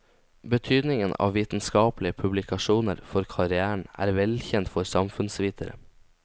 Betydningen av vitenskapelige publikasjoner for karrieren er velkjent for samfunnsvitere.